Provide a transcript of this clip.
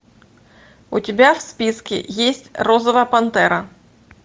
у тебя в списке есть розовая пантера